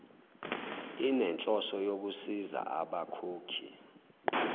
inenhloso yokusiza abakhokhi